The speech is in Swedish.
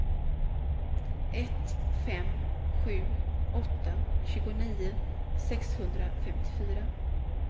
ett fem sju åtta tjugonio sexhundrafemtiofyra